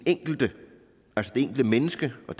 enkelte menneske og